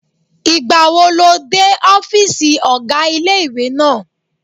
Ìgbàwo lo dé ọ́fìsì ọ̀gá ilé-ìwé náà?